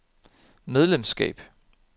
medlemskab